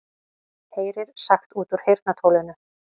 Heyrir sagt út úr heyrnartólinu